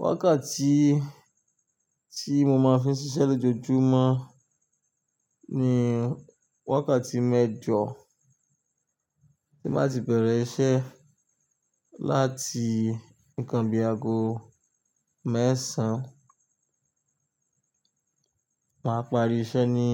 Wákàtí tí mo máa fi ń ṣiṣẹ́ lójoojúmọ́ ni wákàtí mẹ́jọ, tí màá ti bẹ̀rẹ̀ iṣẹ́ láti nǹkan bi í aago mẹ́sàn-án, màá pari iṣẹ́ ní